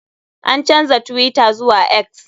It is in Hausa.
An canja twitter zuwa X.